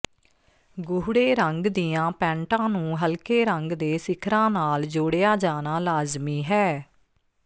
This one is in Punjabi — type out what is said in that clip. ਗੂੜ੍ਹੇ ਰੰਗ ਦੀਆਂ ਪੈਂਟਾਂ ਨੂੰ ਹਲਕੇ ਰੰਗ ਦੇ ਸਿਖਰਾਂ ਨਾਲ ਜੋੜਿਆ ਜਾਣਾ ਲਾਜ਼ਮੀ ਹੈ